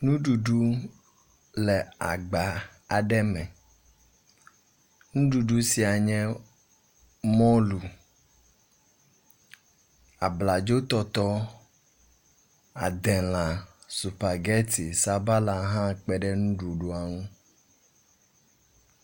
Nuɖuɖu le agba aɖe me. Nuɖuɖu sia nye mɔlu, abladzotɔtɔɔ, adelã, supageti, sabala hã kpe ɖe nuɖuɖua ŋu.